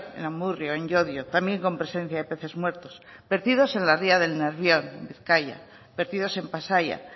en amurrio en llodio también con presencia de peces muertos vertidos en la ría del nervión en bizkaia vertidos en pasaia